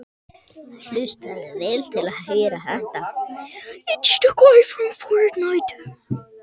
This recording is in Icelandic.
Hann hefur enga sérstaka ástæðu til að hætta að spila.